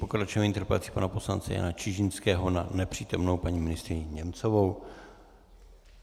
Pokračujeme interpelací pana poslance Jana Čižinského na nepřítomnou paní ministryni Němcovou.